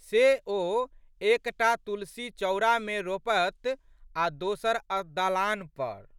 से, ओ एक टा तुलसीचौरामे मे रोपत आ' दोसर दलान पर।